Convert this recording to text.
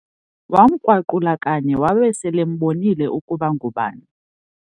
Wamkrwaqula kanye wabe selembonile ukuba ngubani.